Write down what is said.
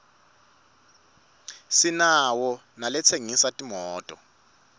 sinawo nalatsengisa timoto